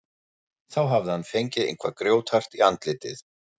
Þá hafði hann fengið eitthvað grjóthart í andlitið.